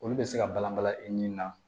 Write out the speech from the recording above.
Olu bɛ se ka balanbala i ni na